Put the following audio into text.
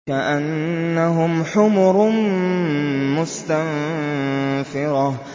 كَأَنَّهُمْ حُمُرٌ مُّسْتَنفِرَةٌ